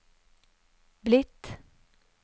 blitt